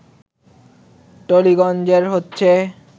টালিগজ্ঞে হচ্ছে